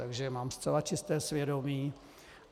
Takže mám zcela čisté svědomí.